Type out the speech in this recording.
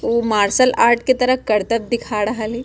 उ martial art के तरह कर्तब्य दिखा रहल हेय।